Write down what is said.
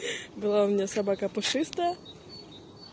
была у меня собака пушистая